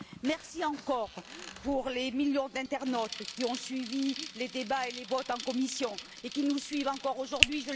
Merci encore pour les millions d'internautes qui ont suivi les débats et les votes en commission et qui nous suivent encore aujourd'hui.